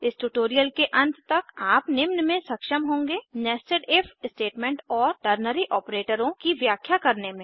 इस ट्यूटोरियल के अंत तक आप निम्न में सक्षम होंगे nested इफ स्टेटमेंट्स और टर्नरी ऑपरेटरों की व्याख्या करने में